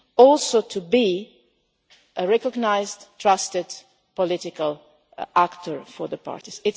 also to be a recognised, trusted, political actor for the parties.